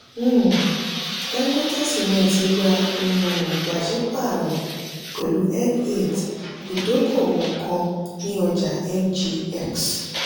um dangote simenti gbà um pasipaaro pẹ̀lú n eight idokowo kan ní ọjà ngx.